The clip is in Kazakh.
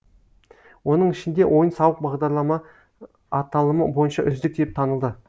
оның ішінде ойын сауық бағдарлама аталымы бойынша үздік деп танылды